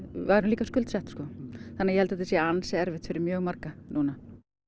værum líka skuldsett þannig að ég held þetta sé ansi erfitt fyrir mjög marga núna